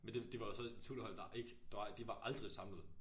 Men det det var jo så et tutorhold der ikke dar var de var aldrig samlet